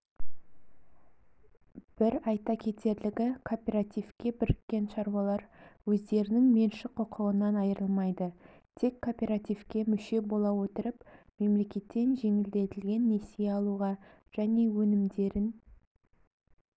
бір айта кетерлігі кооперативке біріккен шаруалар өздерінің меншік құқығынан айырылмайды тек кооперативке мүше бола отырып мемлекеттен жеңілдетілген несие алуға және өнімдерін